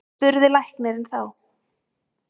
spurði læknirinn þá.